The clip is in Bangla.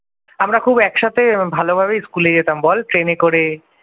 আমরা খুব একসাথে ভালোভাবেই school এ যেতাম বল ট্রেনে করে ।